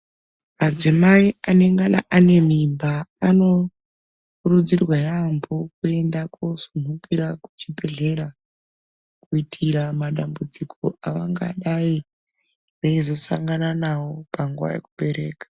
Madzimai anengana ane mimba anokurudzirwa yambo kuenda kuchibhedhleya kuitira madambudziko avangadai veizosangana nawo panguva yekubereka.